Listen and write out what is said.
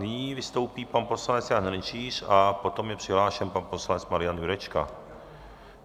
Nyní vystoupí pan poslanec Jan Hrnčíř a potom je přihlášen pan poslanec Marian Jurečka.